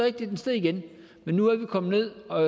at den steg igen men nu er vi kommet ned og